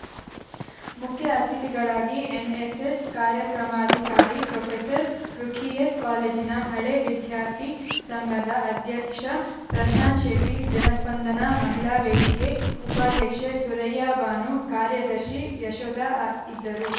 ಮುಖ್ಯ ಅತಿಥಿಗಳಾಗಿ NSS ಕಾರ್ಯಾಕ್ರಮಾಧಿಕಾರಿ professor Rukhiyat ಕಾಲೇಜಿನ ಹಳೇ ವಿದ್ಯಾರ್ಥಿ ಸಂಘದ ಅಧ್ಯಕ್ಷ ಪ್ರಶಾಂತಶೆಟ್ಟಿ ಜನಸ್ಪಂದನಾ ಮಹಿಳಾ ವೇದಿಕೆ ಉಪಾಧ್ಯಕ್ಷೆ ಸುರೈಯಬಾನು ಕಾರ್ಯದರ್ಶಿ ಯಶೋದ ಅ ಇದ್ದರು